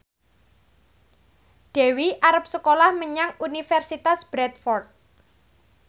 Dewi arep sekolah menyang Universitas Bradford